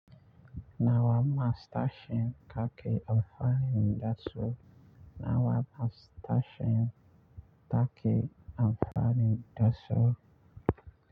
Nawa ma stashin kaki amfani da su. Nawa ma stashin taki amfani da su.